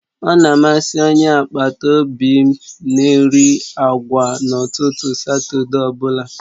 Ọ̀ na amasị Onye agbata obi m na-eri agwa n'ụtụtụ Satọde ọ bụla